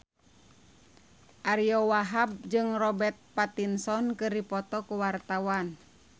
Ariyo Wahab jeung Robert Pattinson keur dipoto ku wartawan